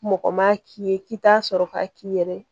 Mɔgɔ ma k'i ye k'i t'a sɔrɔ k'a k'i yɛrɛ ye